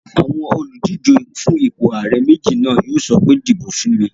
Àwọn olùdíjé fún ipò ààrẹ méjì náà yóò sọ pé "di ìbò fún mi!"